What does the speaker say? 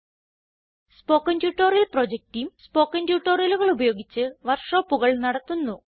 spoken tutorial project team spoken ട്യൂട്ടോറിയലുകൾ ഉപയോഗിച്ച് work ഷോപ്പുകൾ നടത്തുന്നു